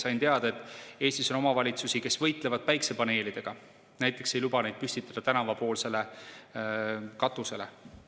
Sain teada, et Eestis on omavalitsusi, kes võitlevad päikesepaneelidega, näiteks ei luba neid püstitada tänavapoolsele katusele.